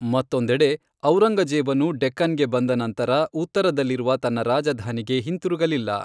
ಮತ್ತೊಂದೆಡೆ, ಔರಂಗಜೇಬನು ಡೆಕ್ಕನ್ಗೆ ಬಂದ ನಂತರ ಉತ್ತರದಲ್ಲಿರುವ ತನ್ನ ರಾಜಧಾನಿಗೆ ಹಿಂತಿರುಗಲಿಲ್ಲ.